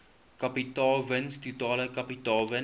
kapitaalwins totale kapitaalwins